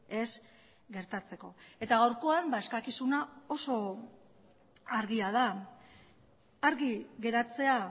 ez gertatzeko eta gaurkoan eskakizuna oso argia da argi geratzea